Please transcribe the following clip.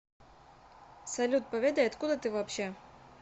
салют поведай откуда ты вообще